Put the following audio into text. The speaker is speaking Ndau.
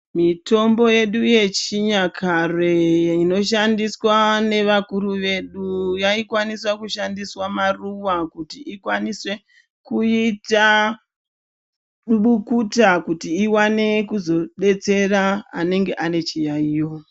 Mitombo yedu yechinyakare inoshandiswa nevakuru vedu inoshandiswa maruva kuti ikwanise kuita mbukuta kuti iwane kuzodetsera anenge ane chiyaiyo.